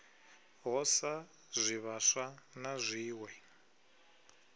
ho sa zwivhaswa na zwiwe